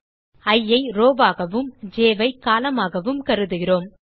இ ஐ rowஆகவும் ஜ் ஐ columnஆகவும் கருதுகிறோம்